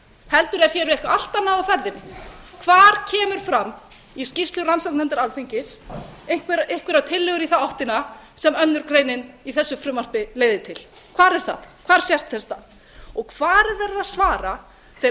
heldur er hér eitthvað allt annað á ferðinni hvar kemur fram í skýrslu rannsóknarnefndar alþingis einhverjar tillögur í þá áttina sem önnur greinin í þessu frumvarpi leiðir til hvar er það hvar sést þess stað hvar er verið að svara þeirri